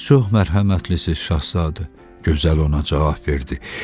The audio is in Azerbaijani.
Siz çox mərhəmətlisiz, Şahzadə, gözəl ona cavab verdi.